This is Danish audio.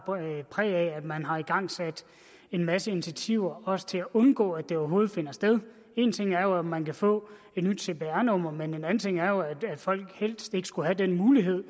præg af man har igangsat en masse initiativer også til at undgå at det overhovedet finder sted en ting er jo at man kan få et nyt cpr nummer men en anden ting er jo at folk helst ikke skulle have den mulighed